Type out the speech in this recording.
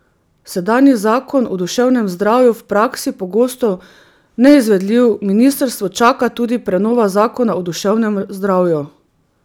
Sedanji zakon o duševnem zdravju v praksi pogosto neizvedljiv Ministrstvo čaka tudi prenova zakona o duševnem zdravju.